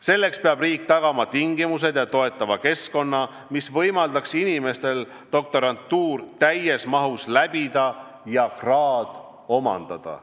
Selleks peab riik tagama tingimused ja toetava keskkonna, mis võimaldaks inimestel doktorantuur täies mahus läbi teha ja kraad omandada.